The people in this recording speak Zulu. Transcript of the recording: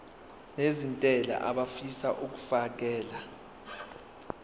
nezentela abafisa uukfakela